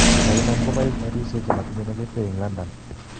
kainam kobais karishek chematinye negetee en London